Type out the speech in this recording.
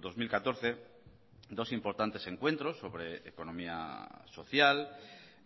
dos mil catorce dos importantes encuentros sobre economía social